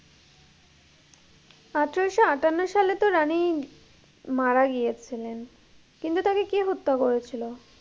আঠেরোশো আটান্ন সালে তো রানী মারা গিয়েছিলেন কিন্তু তাকে কে হত্যা করেছিল?